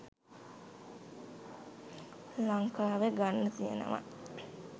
ලංකාවේ ගන්න තියෙනවා